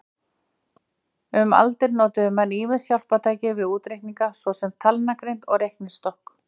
Um aldir notuðu menn ýmis hjálpartæki við útreikninga, svo sem talnagrind og reiknistokk.